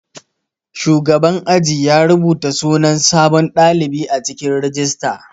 Shugaban aji ya rubata sunan sabon ɗalibi a cikin rijista.